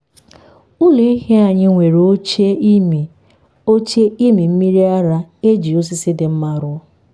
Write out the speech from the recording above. ụlọ ehi anyị nwere oche ịmị oche ịmị mmiri ara e ji osisi dị mma rụọ.